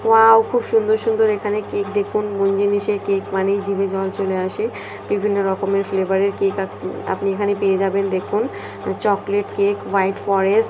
wow খুব সুন্দর সুন্দর এখানে কেক দেখুন মন জিনিসের কেক মানেই জিভে জল চলে আসে বিভিন্ন রকমের ফ্লেভার এর কে কেএ আপনি এখানে পেয়ে যাবেন দেখুন চকলেট কেক হোয়াইট ফরেস্ট --